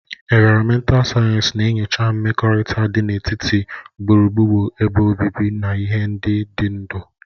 Ịnvaromental Sayensị na-enyocha mmekọrịta dị n'etiti gburugburu ebe obibi na ihe ndị dị ndụ.